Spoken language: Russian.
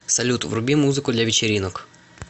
салют вруби музыку для вечеринок